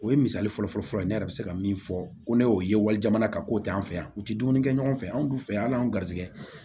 O ye misali fɔlɔfɔlɔ ye ne yɛrɛ bɛ se ka min fɔ ko ne y'o ye walijamana kan k'o tɛ an fɛ yan u tɛ dumuni kɛ ɲɔgɔn fɛ anw du fɛ al'an ga garisɛgɛ